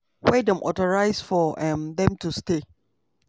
wey dem authorize for um dem to stay.